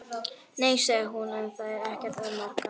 Nei, sagði hún, en það er ekkert að marka.